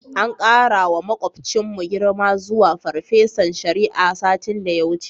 An ƙarawa maƙocinmu girma zuwa farfesan shari'a, satin da ya wuce.